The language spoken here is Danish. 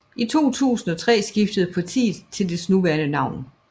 I 2003 skiftede partiet til dets nuværendenavn